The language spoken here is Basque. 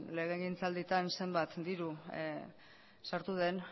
legegintzaldietan zenbat diru sartu den